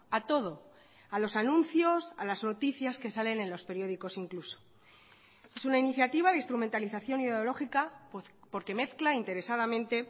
a todo a los anuncios a las noticias que salen en los periódicos incluso es una iniciativa de instrumentalización ideológica porque mezcla interesadamente